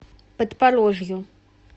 подпорожью